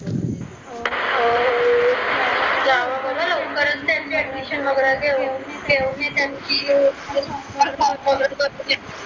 एवढ्या लवकर असते यांची admission वगैरे